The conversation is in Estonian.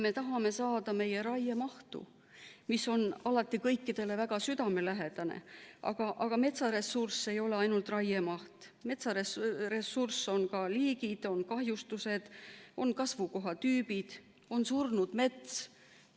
Me tahame saada meie raiemahtu, mis on alati kõikidele väga südamelähedane, aga metsaressurss ei ole ainult raiemaht, metsaressurss on ka liigid, on kahjustused, on kasvukohatüübid, on surnud mets.